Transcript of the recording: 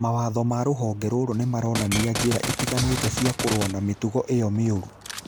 Mawatho ma rũhonge rũu nĩ maronania njĩra itiganĩte cia kũrũa na mĩtugo ĩyo mĩũru.